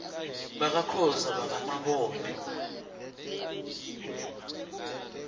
bakakhoza baka mabone